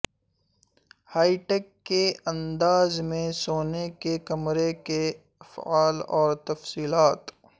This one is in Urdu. ہائی ٹیک کے انداز میں سونے کے کمرے کی افعال اور تفصیلات